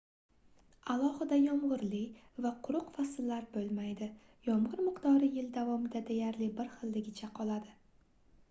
alohida yomgʻirli va quruq fasllar boʻlmaydi yomgʻir miqdori yil davomida deyarli bir xilligicha qoladi